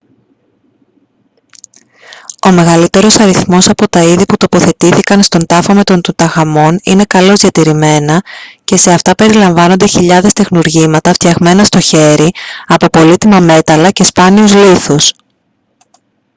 ο μεγαλύτερος αριθμός από τα είδη που τοποθετήθηκαν στον τάφο με τον τουταγχαμών είναι καλώς διατηρημένα και σε αυτά περιλαμβάνονται χιλιάδες τεχνουργήματα φτιαγμένα στο χέρι από πολύτιμα μέταλλα και σπάνιους λίθους